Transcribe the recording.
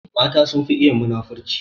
Mata sun fi iya munafunci